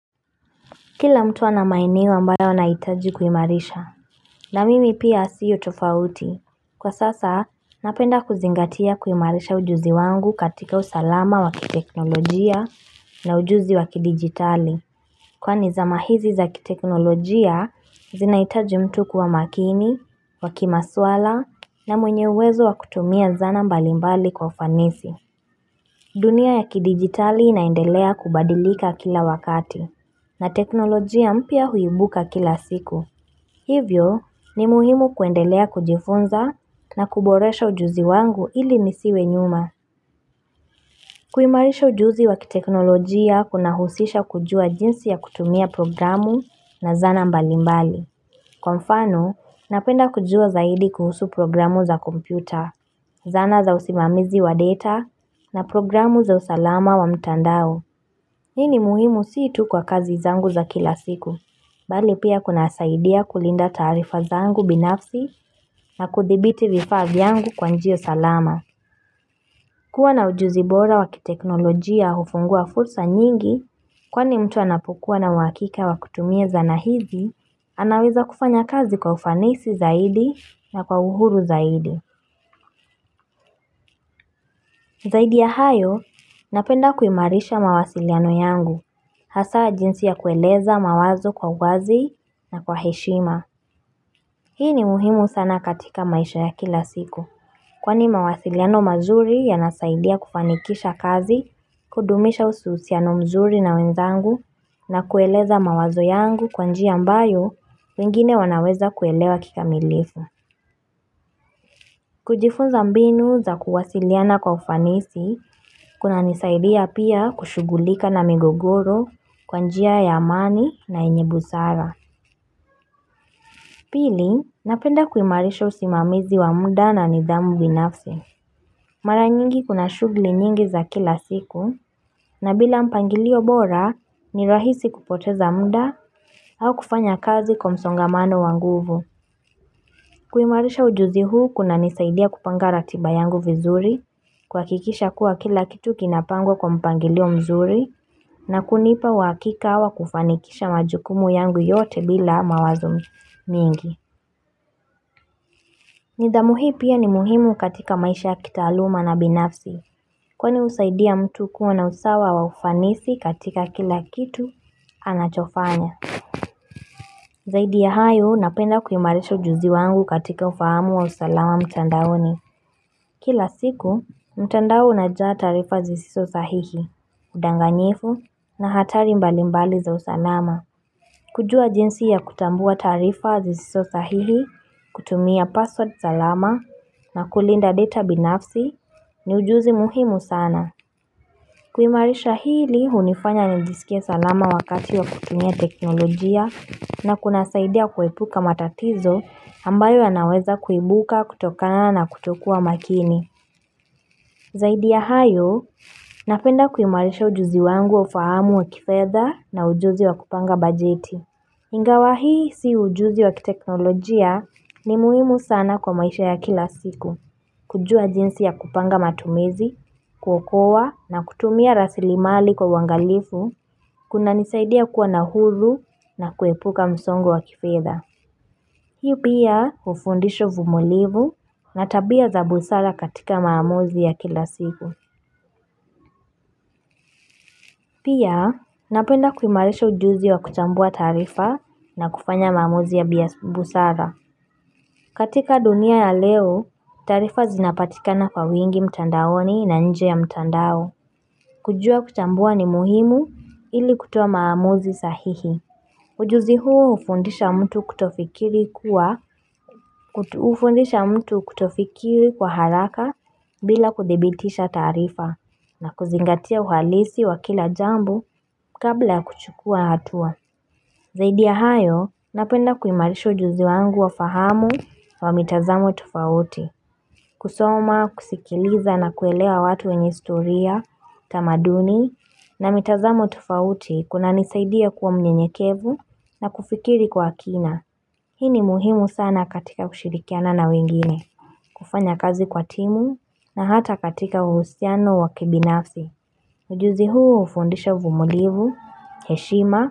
Kila mtu ana maeneo ambayo anahitaji kuimarisha. Na mimi pia siyo tofauti. Kwa sasa, napenda kuzingatia kuimarisha ujuzi wangu katika usalama wa kiteknolojia na ujuzi wakidigitali. Kwani zama hizi za kiteknolojia zinahitaji mtu kuwa makini, wa kimaswala, na mwenye uwezo wa kutumia zana mbalimbali kwa ufanisi. Dunia ya kidigitali inaendelea kubadilika kila wakati. Na teknolojia mpya huibuka kila siku Hivyo ni muhimu kuendelea kujifunza na kuboresha ujuzi wangu ili nisiwe nyuma. Kuimarisha ujuzi wa kiteknolojia kuna husisha kujua jinsi ya kutumia programu na zana mbalimbali. Kwa mfano, napenda kujua zaidi kuhusu programu za kompyuta. Zana za usimamizi wa data na programu za usalama wa mtandao Hii ni muhimu si tu kwa kazi zangu za kila siku Bali pia kunasaidia kulinda taarifa zangu binafsi na kuthibiti vifaa vyangu kwa njia salama. Kuwa na ujuzi bora wa kiteknolojia hufungua fursa nyingi kwani mtu anapokua na uhakika wa kutumia zana hizi, anaweza kufanya kazi kwa ufanisi zaidi na kwa uhuru zaidi. Zaidi ya hayo, napenda kuimarisha mawasiliano yangu, hasa jinsi ya kueleza mawazo kwa wazi na kwa heshima. Hii ni muhimu sana katika maisha ya kila siku kwani mawasiliano mazuri yanasaidia kufanikisha kazi, kudumisha uhusiano mzuri na wenzangu na kueleza mawazo yangu kwa njia ambayo wengine wanaweza kuelewa kikamilifu. Kujifunza mbinu za kuwasiliana kwa ufanisi kunanisaidia pia kushughulika na migogoro kwa njia ya amani na yenye busara. Pili, napenda kuimarisha usimamizi wa muda na nidhamu binafsi. Mara nyingi kuna shughuli nyingi za kila siku, na bila mpangilio bora, ni rahisi kupoteza muda au kufanya kazi kwa msongamano wa nguvu. Kuimarisha ujuzi huu kunanisaidia kupanga ratiba yangu vizuri, kuhakikisha kuwa kila kitu kinapangwa kwa mpangilio mzuri, na kunipa uhakika wa kufanikisha majukumu yangu yote bila mawazo mingi. Nidhamu hii pia ni muhimu katika maisha ya kitaaluma na binafsi kwani husaidia mtu kuwa na usawa wa ufanisi katika kila kitu anachofanya. Zaidi ya hayo napenda kuimarisha ujuzi wangu katika ufahamu wa usalama mtandaoni. Kila siku, mtandao unajaa taarifa zisizo sahihi, udanganyifu na hatari mbali mbali za usalama. Kujua jinsi ya kutambua taarifa zisizo sahihi, kutumia password salama na kulinda data binafsi ni ujuzi muhimu sana. Kuimarisha hili hunifanya nijisikie salama wakati wa kutumia teknolojia na kunasaidia kuepuka matatizo ambayo yanaweza kuibuka kutokana na kutokuwa makini. Zaidi ya hayo, napenda kuimarisha ujuzi wangu wa ufahamu wa kifedha na ujuzi wa kupanga bajeti. Ingawa hii si ujuzi wa kiteknolojia ni muhimu sana kwa maisha ya kila siku. Kujua jinsi ya kupanga matumizi, kuokoa na kutumia rasilimali kwa uangalifu kunanisaidia kuwa na huru na kuepuka msongo wa kifedha. Hii pia hufundisho uvumilivu na tabia za busara katika maamuzi ya kila siku. Pia napenda kuimarisha ujuzi wa kuchambua taarifa na kufanya maamuzi ya busara. Katika dunia ya leo, taarifa zinapatika kwa wingi mtandaoni na nje ya mtandao. Kujua kuchambua ni muhimu ili kutoa maamuzi sahihi. Ujuzi huo hufundisha mtu kutofikiri kuwa hufundisha mtu kutofikiri kwa haraka bila kuthibitisha taarifa na kuzingatia uhalisi wa kila jambo kabla ya kuchukua hatua. Zaidi ya hayo, napenda kuimarisha ujuzi wangu wa fahamu wa mitazamo tofauti. Kusoma, kusikiliza na kuelea watu wenye historia, tamaduni na mitazamo tofauti kunanisaidia kuwa mnyenyekevu na kufikiri kwa kina. Hii ni muhimu sana katika kushirikiana na wengine. Kufanya kazi kwa timu na hata katika uhusiano wa kibinafsi. Ujuzi huu hufundisha uvumilivu, heshima.